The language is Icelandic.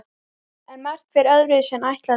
En margt fer öðruvísi en ætlað er.